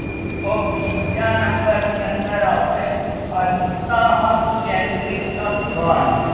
તો બીજા number ની અંદર આવશે અંતઃ કેન્દ્રિત ઘણ